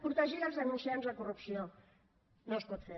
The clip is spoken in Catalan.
protegir els denunciants de corrupció no es pot fer